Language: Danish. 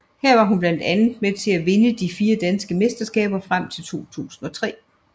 Her var hun blandt andet med til at vinde fire danske mesterskaber frem til 2003